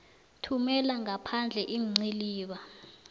thumela ngaphandle iinciliba